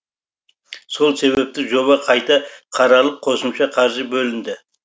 сол себепті жоба қайта қаралып қосымша қаржы бөлінді